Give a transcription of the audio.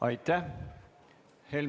Aitäh!